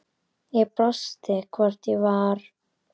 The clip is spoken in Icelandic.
Ég brosti, hvort ég var!